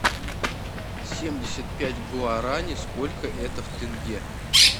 семьдесят пять гуарани сколько это в тенге